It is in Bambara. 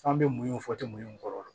F'an be mun fɔ temu kɔrɔ